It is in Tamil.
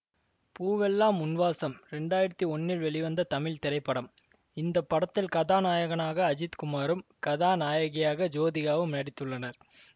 பூவெல்லாம் உன் வாசம் இரண்டாயிரத்தி ஒன்னில் வெளிவந்த தமிழ் திரைப்படம் இந்த படத்தில் கதாநாயகனாக அஜித் குமாரும் கதாநாயகியாக ஜோதிகாவும் நடித்துள்ளனர்